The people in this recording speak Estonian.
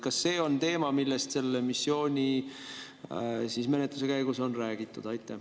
Kas see on teema, millest selle missiooni menetluse käigus on räägitud?